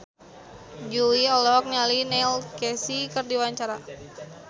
Jui olohok ningali Neil Casey keur diwawancara